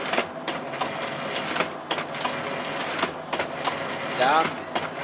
ndlambe